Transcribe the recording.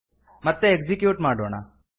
ಮತ್ತೆ ಎಕ್ಸಿಕ್ಯೂಟ್ ಮಾಡೋಣ